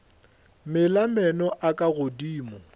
mela meno a ka godimo